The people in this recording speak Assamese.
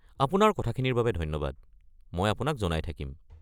আপোনাৰ কথাখিনিৰ বাবে ধন্যবাদ, মই আপোনাক জনাই থাকিম।